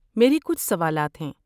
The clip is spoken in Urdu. میرے کچھ سوالات ہیں۔